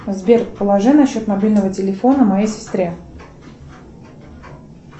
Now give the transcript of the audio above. сбер положи на счет мобильного телефона моей сестре